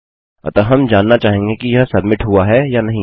अतः हम जानना चाहेंगे कि यह सब्मिट हुआ है या नहीं